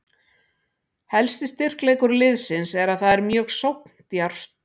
Helsti styrkleikur liðsins er að það er mjög sókndjarft.